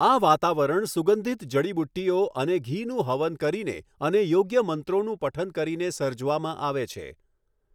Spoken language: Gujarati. આ વાતાવરણ સુગંધિત જડીબુટ્ટીઓ અને ઘીનું હવન કરીને અને યોગ્ય મંત્રોનું પઠન કરીને સર્જવામાં આવે છે.